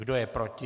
Kdo je proti?